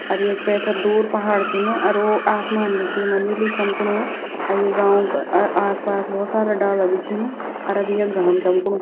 अर येक पैथर दूर पहाड़ छिन अर वो आसमान भी च येमा नीलू चमकुणु अर ये गांव का अ-आसपास भोत सारा डाला भी छीन अर अब यख घाम चमकुणु।